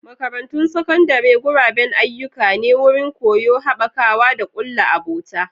Makarantun Sakandare guraben ayyuka ne, wurin koyo, haɓakawa, da kulla abota.